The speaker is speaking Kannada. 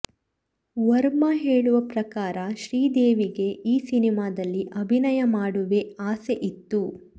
ವರ್ಮಾ ಹೇಳುವ ಪ್ರಕಾರ ಶ್ರೀದೇವಿಗೆ ಈ ಸಿನಿಮಾದಲ್ಲಿ ಅಭಿನಯ ಮಾಡುವೆ ಆಸೆ ಇತ್ತು